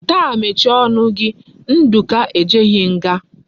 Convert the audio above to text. Taa mechie onu gi! Nduka ejeghi nga!